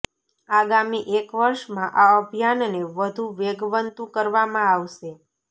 આગામી એક વર્ષમાં આ અભિયાનને વધુ વેગવંતુ કરવામાં આવશે